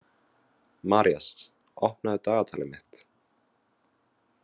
Marías, opnaðu dagatalið mitt.